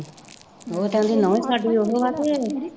ਉਹ ਕਹਿੰਦੀ ਨਹੁੰ ਸਾਡੀ ਉਹ ਹੈ ਤੇ